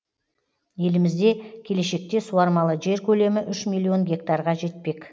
елімізде келешкте суармалы жер көлемі үш миллион гектарға жетпек